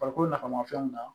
Farikolo nafamafɛnw na